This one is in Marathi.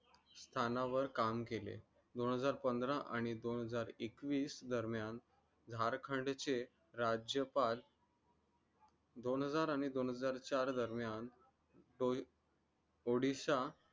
तानावर काम केले दोन हजार पंधरा आणि दोन हजार एकवीस दरम्यान धार खाण्याचे राज्यपाल दोन हजार आणि दोन हजार चार दरम्यान odisha